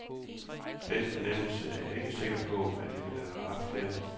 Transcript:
Den fornemmelse er jeg ikke sikker på, at jeg ville have haft her.